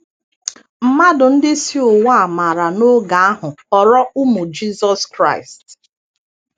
Mmadụ ndị si ụwa a maara n’oge ahụ ghọrọ ụmụJisọs Kraịst.